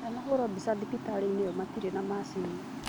Ndanahũrwo mbica thibitarĩinĩ ĩyo matire na macicini